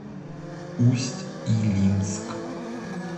усть илимск